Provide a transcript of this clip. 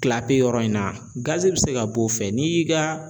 yɔrɔ in na gazi bɛ se ka b'o fɛ n'i y'i ka